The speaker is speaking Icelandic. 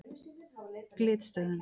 Glitstöðum